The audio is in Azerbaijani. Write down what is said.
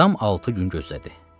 Tam altı gün gözlədi.